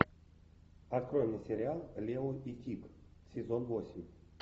открой мне сериал лео и тиг сезон восемь